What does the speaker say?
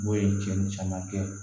O ye cɛnni caman kɛ